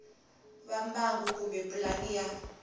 va mbangu kumbe pulani ya